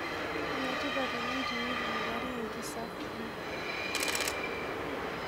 Enetipat oleng teneitudupari enkisafi.